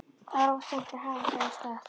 Þá var of seint að hafa sig af stað.